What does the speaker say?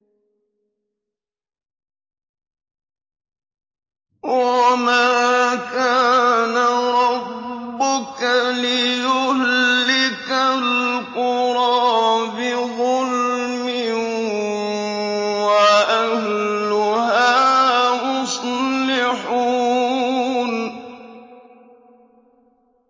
وَمَا كَانَ رَبُّكَ لِيُهْلِكَ الْقُرَىٰ بِظُلْمٍ وَأَهْلُهَا مُصْلِحُونَ